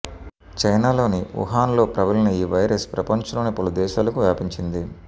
చైనాలోని వుహాన్లో ప్రబలిన ఈ వైరస్ ప్రపంచంలోని పలు దేశాలకు వ్యాపించింది